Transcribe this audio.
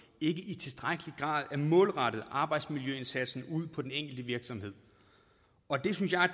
ikke i tilstrækkelig grad er målrettet arbejdsmiljøindsatsen ude på den enkelte virksomhed og det synes jeg er